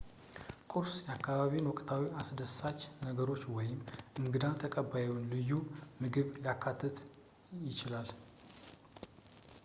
ቁርስ የአካባቢውን ወቅታዊ አስደሳች ነገሮች ወይም የእንግዳ ተቀባዩን ልዩ ምግብ ሊያካትት ይችላል